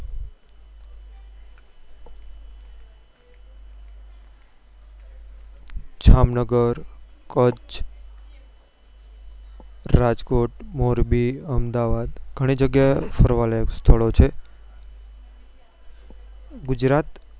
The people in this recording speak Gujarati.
જામનગર કચ્છ રાજકોટ મોરબી અમદાવાદ ઘણી જગ્યાએ ફરવા લાયક સ્થળો છે ગુજરાત